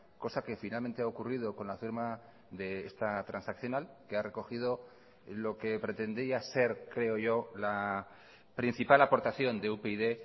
cosa que finalmente ha ocurrido con la firma de esta transaccional que ha recogido lo que pretendía ser creo yo la principal aportación de upyd